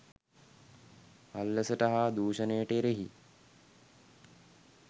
අල්ලසට හා දූෂණයට එරෙහි